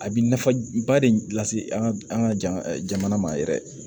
A bi nafaba de lase an ka jamana ma yɛrɛ